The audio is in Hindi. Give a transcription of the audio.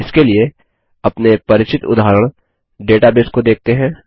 इसके लिए अपने परिचित उदाहरण डेटाबेस को देखते हैं